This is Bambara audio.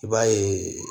I b'a ye